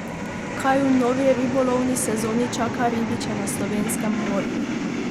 Kaj v novi ribolovni sezoni čaka ribiče na slovenskem morju?